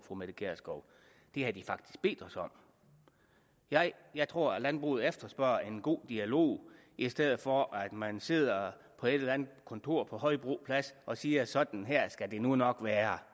fru mette gjerskov det har de faktisk bedt os om jeg jeg tror at landbruget efterspørger en god dialog i stedet for at man sidder på et eller andet kontor på højbro plads og siger at sådan her skal det nu nok være